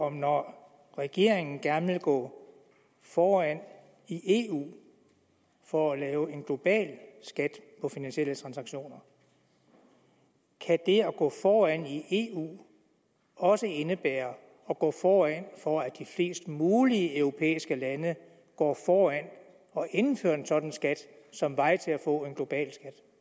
at når regeringen gerne vil gå foran i eu for at lave en global skat på finansielle transaktioner kan det at gå foran i eu også indebære at gå foran for at de flest mulige europæiske lande går foran og indfører en sådan skat som vej til at få en global